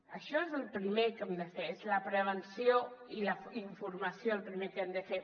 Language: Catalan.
això és el primer que hem de fer és la prevenció i la informació el primer que hem de fer